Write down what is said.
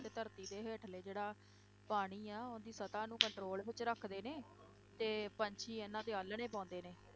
ਤੇ ਧਰਤੀ ਦੇ ਹੇਠਲੇ ਜਿਹੜਾ ਪਾਣੀ ਆ, ਉਹਦੀ ਸਤ੍ਹਾ ਨੂੰ control ਵਿੱਚ ਰੱਖਦੇ ਨੇ, ਤੇ ਪੰਛੀ ਇਹਨਾਂ ਤੇ ਆਲਣੇ ਪਾਉਂਦੇ ਨੇ।